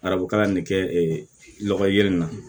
Arabu kalan ne kɛ lɔgɔ ye yiri in na